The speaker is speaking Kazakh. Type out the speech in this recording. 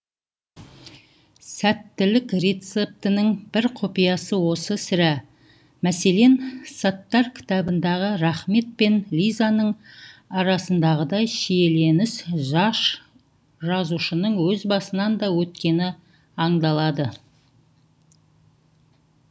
сәттілік рецептінің бір құпиясы осы сірә мәселен саттар кітабындағы рахмет пен лизаның арасындағыдай шиеленіс жас жазушының өз басынан да өткені аңдалады